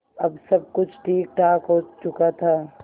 अब सब कुछ ठीकठाक हो चुका था